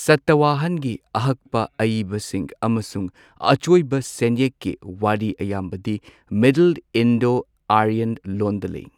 ꯁꯇꯋꯥꯍꯟꯒꯤ ꯑꯍꯛꯄ ꯑꯏꯕꯁꯤꯡ ꯑꯃꯁꯨꯡ ꯑꯆꯣꯏꯕ ꯁꯦꯟꯌꯦꯛꯀꯤ ꯋꯥꯔꯤ ꯑꯌꯥꯝꯕꯗꯤ ꯃꯤꯗꯜ ꯏꯟꯗꯣ ꯑꯥꯔꯌꯟ ꯂꯣꯟꯗ ꯂꯩ꯫